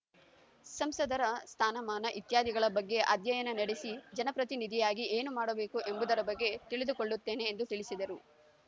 ಸಂಸದರ ಸ್ಥಾನಮಾನ ಇತ್ಯಾದಿಗಳ ಬಗ್ಗೆ ಅಧ್ಯಯನ ನಡೆಸಿ ಜನಪ್ರತಿನಿಧಿಯಾಗಿ ಏನು ಮಾಡಬೇಕು ಎಂಬುದರ ಬಗ್ಗೆ ತಿಳಿದುಕೊಳ್ಳುತ್ತೇನೆ ಎಂದು ತಿಳಿಸಿದರು